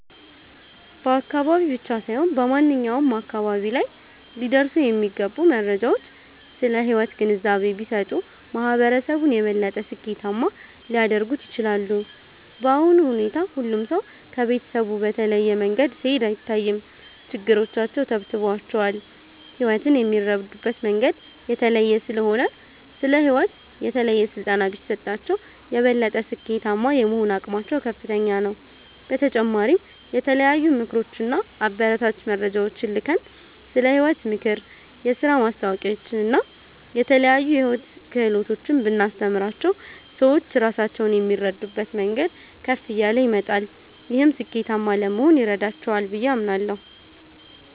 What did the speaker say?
በአካባቢ ብቻ ሳይሆን በማንኛውም አካባቢ ላይ ሊደርሱ የሚገቡ መረጃዎች ስለ ሕይወት ግንዛቤ ቢሰጡ፣ ማህበረሰቡን የበለጠ ስኬታማ ሊያደርጉት ይችላሉ። በአሁኑ ሁኔታ ሁሉም ሰው ከቤተሰቡ በተለየ መንገድ ሲሄድ አይታይም፤ ችግሮቻቸው ተብትበዋቸዋል። ሕይወትን የሚረዱበት መንገድ የተለየ ስለሆነ፣ ስለ ሕይወት የተለየ ስልጠና ቢሰጣቸው፣ የበለጠ ስኬታማ የመሆን አቅማቸው ከፍተኛ ነው። በተጨማሪም የተለያዩ ምክሮች እና አበረታች መረጃዎችን ልከን፣ ስለ ሕይወት ምክር፣ የሥራ ማስታወቂያዎችን እና የተለያዩ የሕይወት ክህሎቶችን ብናስተምራቸው፣ ሰዎች ራሳቸውን የሚረዱበት መንገድ ከፍ እያለ ይመጣል። ይህም ስኬታማ ለመሆን ይረዳቸዋል ብዬ አምናለሁ።